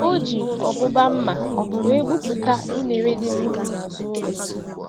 Oji ọbụba mma wee gbupụta unere dị n'ubi azụ ụlọ.